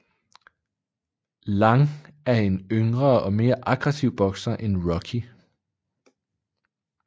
Lang er en yngre og mere aggressiv bokser end Rocky